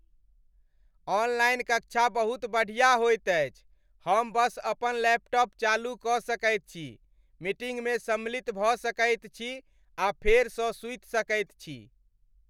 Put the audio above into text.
Online कक्षा बहुत बढ़िया होइत अछि। हम बस अपन लैपटॉप चालू कऽ सकैत छी, मीटिंगमे सम्मिलित भऽ सकैत छी आ फेरसँ सूति सकैत छी।